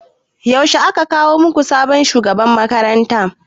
Yaushe aka kawo muku sabon shugaban makaranta?